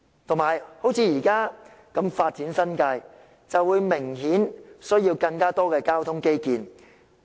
再者，新界如以這樣的方式發展，便明顯需要更多交通基建。